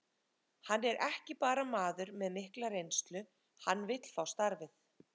Hann er ekki bara maður með mikla reynslu, hann vill fá starfið.